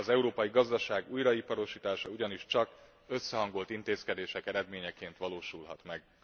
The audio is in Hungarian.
Az európai gazdaság újraiparosítása ugyanis csak összehangolt intézkedések eredményeként valósulhat meg.